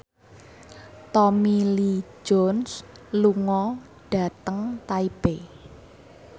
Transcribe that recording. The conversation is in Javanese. Tommy Lee Jones lunga dhateng Taipei